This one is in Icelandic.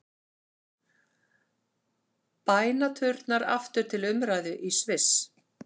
Bænaturnar aftur til umræðu í Sviss